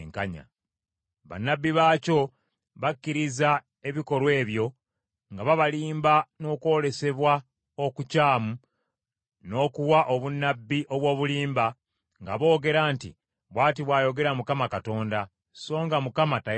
Bannabbi baakyo bakkiriza ebikolwa ebyo, nga babalimba n’okwolesebwa okukyamu n’okuwa obunnabbi obw’obulimba, nga boogera nti, ‘Bw’ati bw’ayogera Mukama Katonda,’ so nga Mukama tayogedde.